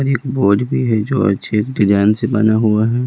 ऊपर एक बोर्ड भी है जो अच्छे डिजाइन से बना हुआ है।